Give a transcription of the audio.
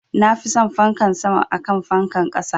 Nafi son fankan sama akan fankan ƙasa